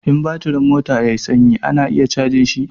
In batirin mota ya yi sanyi ana iya cajin shi.